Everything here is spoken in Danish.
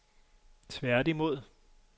tværtimod